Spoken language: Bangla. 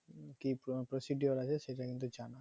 কি procedure আছে সেটা কিন্তু জানা